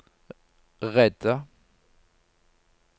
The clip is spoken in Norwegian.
redde